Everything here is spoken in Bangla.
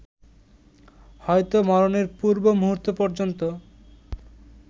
হয়তো মরণের পূর্ব মুহূর্ত পর্যন্ত